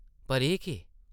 पर एह् केह् ?